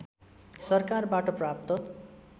सरकारबाट प्राप्त